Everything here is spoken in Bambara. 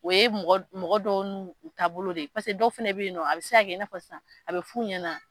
O ye mɔgɔ dɔw nun taabolo de ye pase dɔw fɛnɛ bɛ yen a bɛ se kɛ sisan fa sisan a bɛ fu ɲɛna.